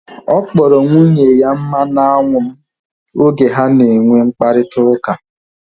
Ọ kpọrọ nwunye ya mmanụ anwụ m oge ha na enwe mkparịta ụka